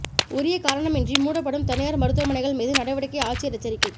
உரிய காரணமின்றி மூடப்படும் தனியாா் மருத்துவமனைகள் மீது நடவடிக்கைஆட்சியா் எச்சரிக்கை